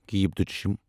کھ